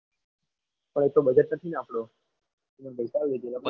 પણ એ તો budget નથી ને આપણું.